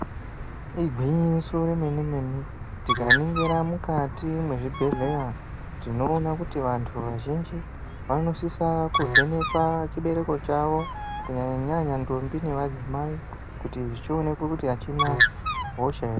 Igwinyiso remene mene tikaningira mukati mezvibhedhlera tinoona kuti vantu vazhinji vanosisa kuvhenekwa chibereko chavo kunyanyanyanya ndombi nemadzimai kuti zvionekwe kuti achina hosha here.